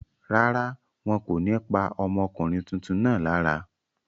Rárá, wọn kò ní pa ọmọkùnrin tuntun náà lára.